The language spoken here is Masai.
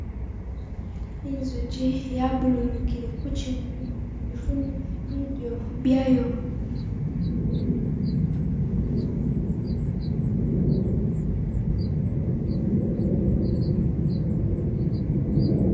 Inzuchi yabululukile ku kyimuli ifune bidyo byayo.